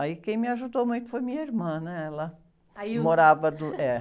Aí quem me ajudou muito foi minha irmã, né? Ela morava do, eh...